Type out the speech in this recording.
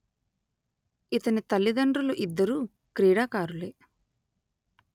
ఇతని తల్లిదండ్రులు ఇద్దరూ క్రీడాకారులే